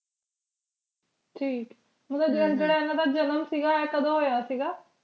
ਠੀਕ ਮਤਲਬ ਜੇਦਾ ਹਨ ਦਾ ਜਨਮ ਸੀਗਾ ਇਹ ਕਦੋ ਹੋਇਆ ਸੀਗਾ